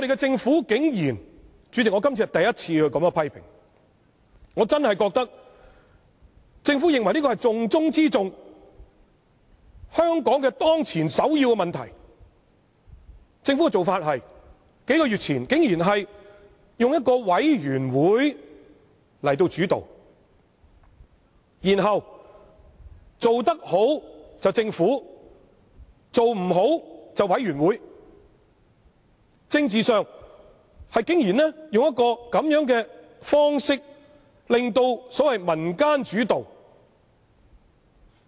主席，我今次是第一次作出這樣的批評，政府認為這是重中之重、香港當前的首要問題，但政府的做法竟然是在數月前成立委員會來作為主導，然後做得好便是政府的功勞，做得不好便是委員會的責任，政治上竟然以這種方式來製造所謂民間主導的局面。